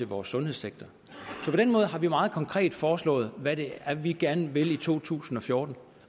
vores sundhedssektor så på den måde har vi meget konkret foreslået hvad det er vi gerne vil i to tusind og fjorten